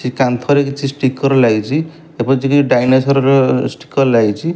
ଏ କାନ୍ଥରେ କିଛି ଷ୍ଟିକର ଲାଗିଛି ଏବଂ କିଛି ଡ଼ାଇନାସର ର ଷ୍ଟିକର ଲାଗିଛି।